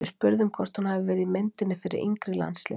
Við spurðum hvort hún hafi verið í myndinni fyrir yngri landsliðin?